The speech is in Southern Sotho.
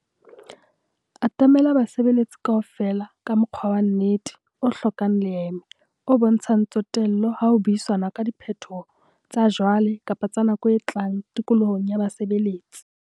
Atamela basebeletsi kaofela ka mokgwa wa nnete, o hlokang leeme, o bontshang tsotello ha ho buisanwa ka diphetoho tsa jwale kapa tsa nako e tlang tikolohong ya basebeletsi.